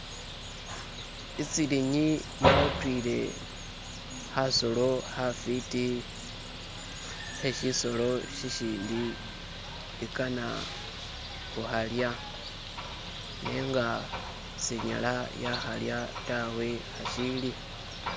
itsilinyi yatuyile hasolo hafiti heshisolo shishindi ikana huhalya nenga sinyala yahalya tawe hashili